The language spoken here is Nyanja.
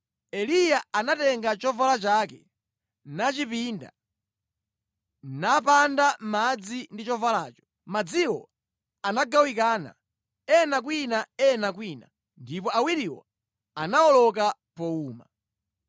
Eliya anatenga chovala chake nachipinda, napanda madzi ndi chovalacho. Madziwo anagawikana, ena kwina ena kwina, ndipo awiriwo anawoloka powuma.